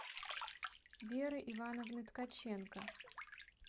веры ивановны ткаченко